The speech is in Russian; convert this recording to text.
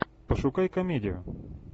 пошукай комедию